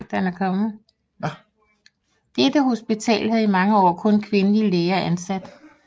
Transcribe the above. Dette hospital havde i mange år kun kvindelige læger ansat